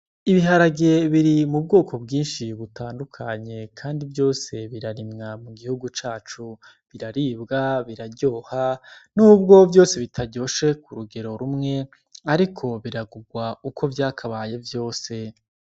Ibiharage biri mu nbwoko mbwinshi butandukanye kandi vyose birarimwa mu gihugu cacu biraribwa, biraryoha n'ubwo vyose bitaryoshe kurugero rumwe ariko biragugwa uko vyakabaye vyose.